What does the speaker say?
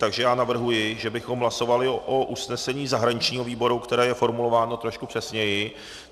Takže já navrhuji, že bychom hlasovali o usnesení zahraničního výboru, které je formulováno trošku přesněji.